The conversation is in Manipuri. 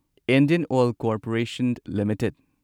Indian oil corporation limited